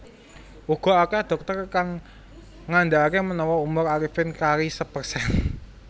Uga akeh dhokter kang ngandakake menawa umur Arifin kari sepersen